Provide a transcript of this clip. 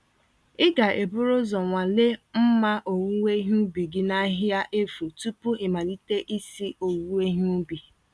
Ịga eburu uzọ nwalee mma owuwe ihe ubi gị n'ahịhịa efu tupu ịmalite isi owuwe ihe ubi.